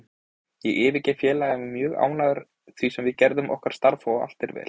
Ég yfirgef félagið mjög ánægður því við gerðum okkar starf og allt er í lagi.